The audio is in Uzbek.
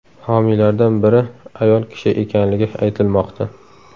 Homiylardan biri ayol kishi ekanligi aytilmoqda.